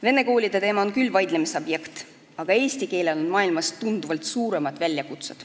Vene koolide teema on küll vaidlemise objekt, aga eesti keelel on maailmas tunduvalt suuremad väljakutsed.